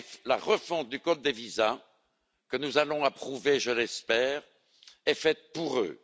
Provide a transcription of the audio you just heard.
La refonte du code des visas, que nous allons approuver, je l'espère, est faite pour eux.